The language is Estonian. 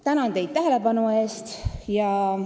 " Tänan teid tähelepanu eest!